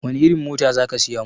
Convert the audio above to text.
Wani irin mota za ka siya mun?